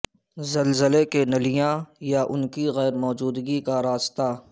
زلزلے کے نلیاں یا ان کی غیر موجودگی کا راستہ